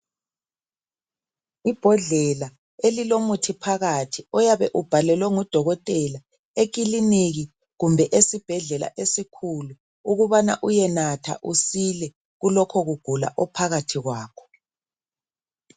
Ibhodlela elile muthi phakathi oyabe ubhalele ngudokotela ekiliki kumbe esibhedlela esikhuku ukubana uyenatha usilile kulokho kugula ophakathi kwakho.